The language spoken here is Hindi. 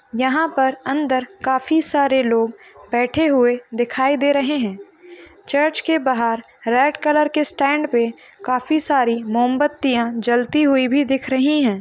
यहाँ पर अंदर काफी सारे लोग बेठे हुए दिखाई दे रहे हैचर्च के बहार रेड कलर के स्टेंड पे काफी सारी मोमबत्तिया जलती हुयी भी दिख रही है।